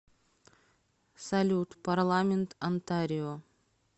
салют парламент онтарио